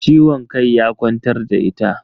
Ciwon kai ya kwantar da ita.